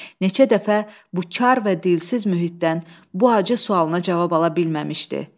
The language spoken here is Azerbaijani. Neçə dəfə bu kar və dilsiz mühitdən bu acı sualına cavab ala bilməmişdi.